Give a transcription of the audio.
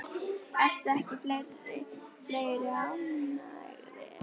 Eru ekki fleiri ánægðir?